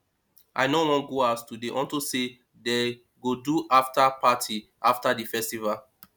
i no wan go house today unto say dey go do after party after the festival